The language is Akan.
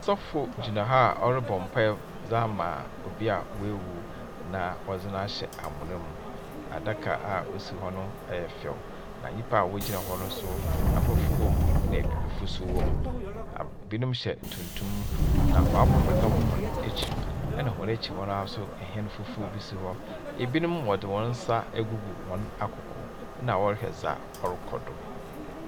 Sɔfo gyina ha a ɔrobɔ mpaa dze ama obi a oewu na wɔdze no ahyɛ amona mu, adaka a osi hɔ no, ɔyɛ fɛw, na nyimpa a wogyina hɔ no so Aborɔfo wɔ mu na Ebibifo so wɔ mu. Binom hyɛ tuntum na wɔabɔ pata wɔ hɔn ekyir, na hɔn ekyir hɔ no ara so hɛn fufuw bi si hɔ, binom wɔdze hɔn nsa egu wɔn akoko na wɔrohwɛ dza ɔrokɔ do.